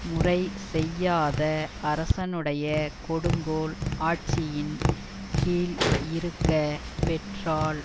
முறை செய்யாத அரசனுடைய கொடுங்கோல் ஆட்சியின் கீழ் இருக்க பெற்றால்